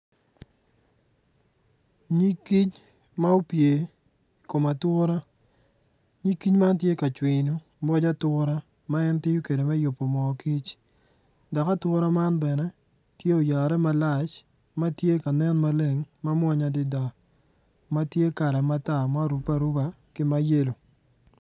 Nyig kic ma opye i kom ature nyig kic man tye ka cwiyo pig ature ma en tiyo kwede me yubo mo dok ature man tye oyare malac.